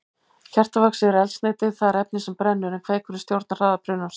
Kertavaxið er eldsneytið, það er efnið sem brennur, en kveikurinn stjórnar hraða brunans.